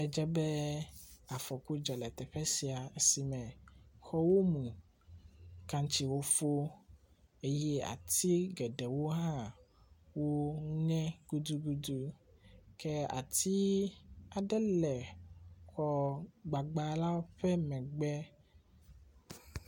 Edze be afɔku dzɔ le teƒe sia esi me xɔwo mu. Kantsiwo fo eye ati geɖewo hã ŋe gudugudu ke ati aɖe le xɔ gbagba la ƒe megbe.